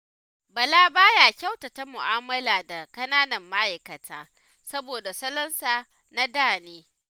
Bala ba ya kyautata mu'amala da ƙananan ma'aikata, saboda salonsa na da ne.